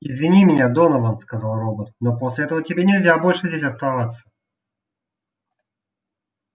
извини меня донован сказал робот но после этого тебе нельзя больше здесь оставаться